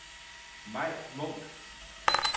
Mai Munch